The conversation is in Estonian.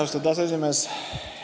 Austatud aseesimees!